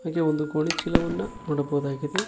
ಹಾಗೆ ಒಂದು ಗೋಣಿ ಚೀಲವನ್ನ ನೋಡಬಹುದಾಗಿದೆ.